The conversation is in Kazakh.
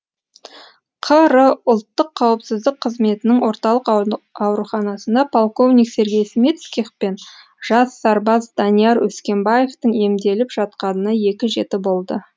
қр ұлттық қауіпсіздік қызметінің орталық ауруханасында полковник сергей смицких пен жас сарбаз данияр өскенбаевтың емделіп жатқанына екі жеті болды